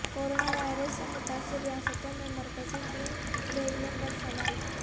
corona virus سے متاثر ریاستوں میں مرکزی ٹیم بھیجنے پرسوال